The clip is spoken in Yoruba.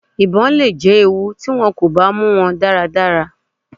Ibon le jẹ ewu ti wọn ko ba mu wọn daradara.